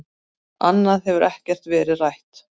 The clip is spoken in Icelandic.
Annað hefur ekkert verið rætt